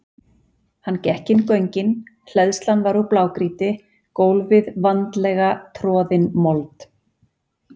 Hann gekk inn göngin, hleðslan var úr blágrýti, gólfið vandlega troðin mold.